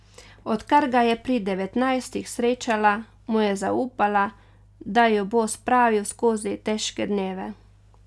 Odkar ga je pri devetnajstih srečala, mu je zaupala, da jo bo spravil skozi težke dneve.